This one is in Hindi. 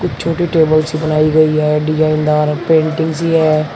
एक छोटी टेबल्स से बनाई गई है डिजाइनदार है पेंटिंग सी है।